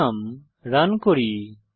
programme run করি